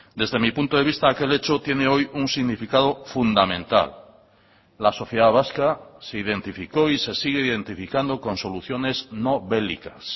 desde mi punto de vista aquel hecho tiene hoy un significado fundamental la sociedad vasca se identificó y se sigue identificando con soluciones no bélicas